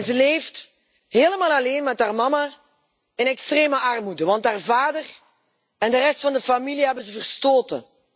Ze leeft helemaal alleen met haar moeder in extreme armoede, want haar vader en de rest van de familie hebben ze verstoten.